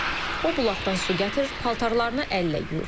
O bulaqdan su gətirir, paltarlarını əllə yuyur.